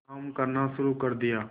काम करना शुरू कर दिया